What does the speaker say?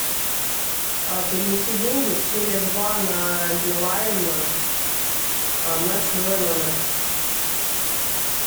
перевести деньги с теле два на билайн на чужой номер